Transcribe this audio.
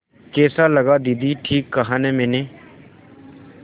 कैसा लगा दीदी ठीक कहा न मैंने